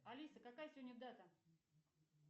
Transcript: алиса какая сегодня дата